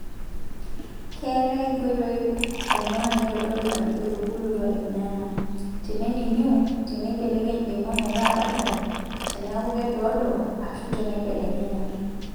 Keetae nkoitoi ong'uan naaitodolu Ajo etubulutua irnyanya; teneniniu, teneibekeny emwua metaa barlain, teneku kedoodo, ashuu teneibelekenya.